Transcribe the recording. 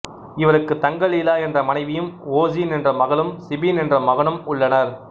இவருக்கு தங்கலீலா என்ற மனைவியும் ஓசின் என்ற மகளும் சிபின் என்ற மகனும் உள்ளனர்